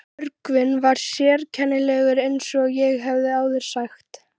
Björgvin var sérkennilegur eins og ég hef áður sagt.